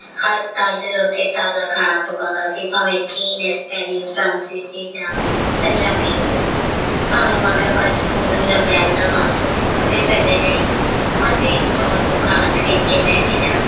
ਹਰ ਉੱਥੇ ਤਾਜਾ ਖਾਣਾ ਪਕਾਉਂਦਾ ਸੀ ਭਾਵੇ ਯਾ ਪੰਜਾਬੀ ਹੋਵੇ ਭਾਵੇ ਮਗਰਮੱਛ ਯਾ ਦਾ ਮਾਸ ਹੋਵੇ ਤੋਰਦੇ ਫਿਰਦੇ ਜਿਹੜੀ ਮਰਜੀ ਸਟੋਲ ਤੋਂ ਖਾਣਾ ਖਰੀਦ ਕੇ ਬੇ ਕੇ ਜਾ।